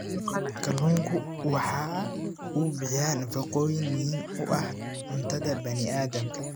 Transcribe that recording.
Kalluunku waxa uu bixiyaa nafaqooyin muhiim u ah cuntada bani aadamka.